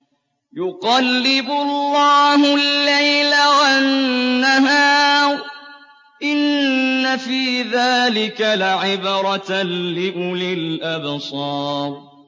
يُقَلِّبُ اللَّهُ اللَّيْلَ وَالنَّهَارَ ۚ إِنَّ فِي ذَٰلِكَ لَعِبْرَةً لِّأُولِي الْأَبْصَارِ